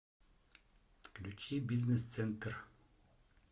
включи бизнес центр